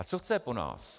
A co chce po nás?